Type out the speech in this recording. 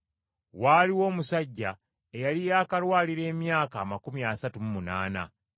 Waaliwo omusajja eyali yaakalwalira emyaka amakumi asatu mu munaana.